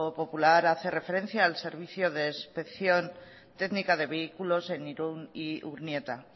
popular hace referencia al servicio de inspección técnica de vehículos en irun y urnieta